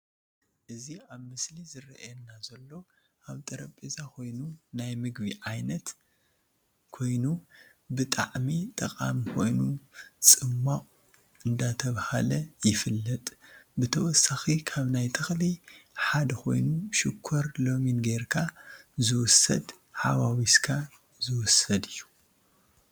እዚ አብ ምስሊ ዝረአየና ዘሎ አብ ጠረጰዛ ኮይኑ ናይ ምግብ ዓይነት ኮይኑ ብጠዓሚ ጠቃሚ ኮይኑ ፂማቅ እደተባሃ ይፊለጥ። ብተወሰኪ ካብ ናይ ተኽሊ ሖደ ኮይኑ ሽኮር ለሚን ገይርካ ዝውሰድ ሓዋውሰካ ዝውሰድ እዩ።